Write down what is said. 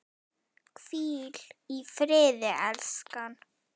Hvíl í friði, elskan!